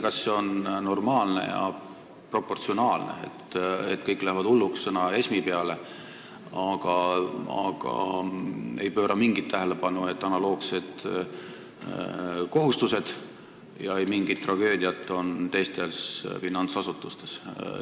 Kas see on teie arvates normaalne ja proportsionaalne, et kõik lähevad hulluks sõna ESM peale, aga ei pööra mingit tähelepanu sellele, et analoogsed kohustused on meil ka teistes finantsasutustes?